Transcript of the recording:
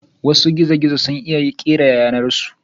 Wasu gizo-gizo sun iya kera yanar su.